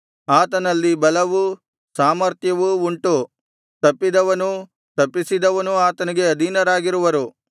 ಆತನಲ್ಲಿ ಬಲವೂ ಸಾಮರ್ಥ್ಯವೂ ಉಂಟು ತಪ್ಪಿದವನೂ ತಪ್ಪಿಸಿದವನೂ ಆತನಿಗೆ ಅಧೀನರಾಗಿರುವರು